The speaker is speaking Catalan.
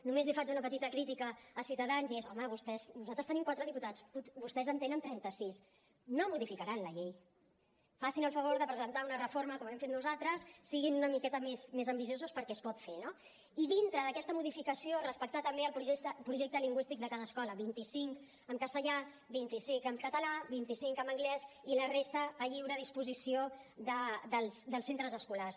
només li faig una petita crítica a ciutadans i és home nosaltres tenim quatre diputats vostès en tenen trenta sis no modificaran la llei facin el favor de presentar una reforma com hem fet nosaltres siguin una miqueta més ambiciosos perquè es pot fer no i dintre d’aquesta modificació respectar també el projecte lingüístic de cada escola vint cinc en castellà vint cinc en català vint cinc en anglès i la resta a lliure disposició dels centres escolars